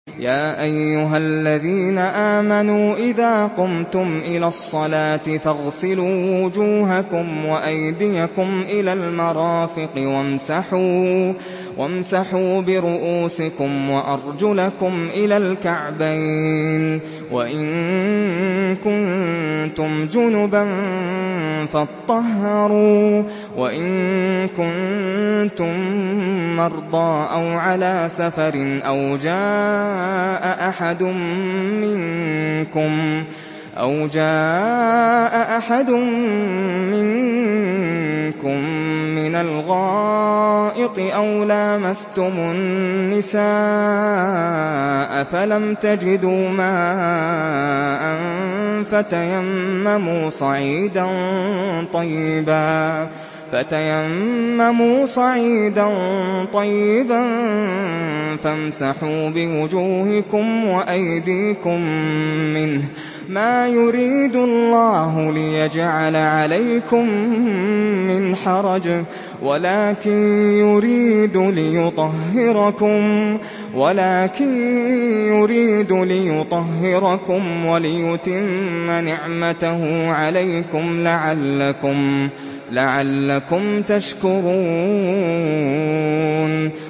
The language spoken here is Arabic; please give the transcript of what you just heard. يَا أَيُّهَا الَّذِينَ آمَنُوا إِذَا قُمْتُمْ إِلَى الصَّلَاةِ فَاغْسِلُوا وُجُوهَكُمْ وَأَيْدِيَكُمْ إِلَى الْمَرَافِقِ وَامْسَحُوا بِرُءُوسِكُمْ وَأَرْجُلَكُمْ إِلَى الْكَعْبَيْنِ ۚ وَإِن كُنتُمْ جُنُبًا فَاطَّهَّرُوا ۚ وَإِن كُنتُم مَّرْضَىٰ أَوْ عَلَىٰ سَفَرٍ أَوْ جَاءَ أَحَدٌ مِّنكُم مِّنَ الْغَائِطِ أَوْ لَامَسْتُمُ النِّسَاءَ فَلَمْ تَجِدُوا مَاءً فَتَيَمَّمُوا صَعِيدًا طَيِّبًا فَامْسَحُوا بِوُجُوهِكُمْ وَأَيْدِيكُم مِّنْهُ ۚ مَا يُرِيدُ اللَّهُ لِيَجْعَلَ عَلَيْكُم مِّنْ حَرَجٍ وَلَٰكِن يُرِيدُ لِيُطَهِّرَكُمْ وَلِيُتِمَّ نِعْمَتَهُ عَلَيْكُمْ لَعَلَّكُمْ تَشْكُرُونَ